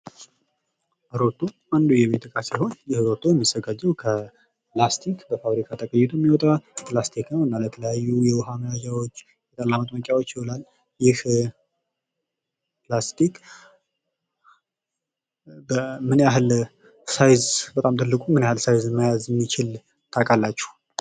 ሮቶ፦ ሮቶ አንዱ የቤት እቃ ሲሆነ ይህ ሮቶም የሚዘጋጀው ከላስቲክ ነው እና ለተለያዩ የዉሃ መያዣዎች ጠላ መጥመቂያዎች ይዉላል። ይህ ላስቲክ ምን ያህል መጠን በጣም ትልቁ ምን ያህል መጠን የሚይዝ ታቃላችሁ፡፤